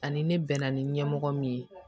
Ani ne bɛ na ni ɲɛmɔgɔ min ye